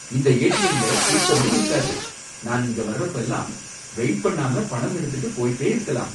இந்த ஏடிஎம்ல கூட்டமே இருக்காது, நான் இங்க வர்றப்பலாம் வெயிட் பண்ணாம பணம் எடுத்துட்டு போயிட்டே இருக்கலாம்.